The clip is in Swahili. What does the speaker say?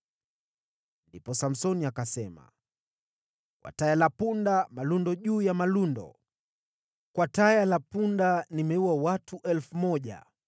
Ndipo Samsoni akasema, “Kwa taya la punda malundo juu ya malundo. Kwa taya la punda nimeua watu 1,000.”